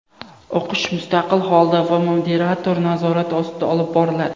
O‘qish mustaqil holda va moderator nazorati ostida olib boriladi.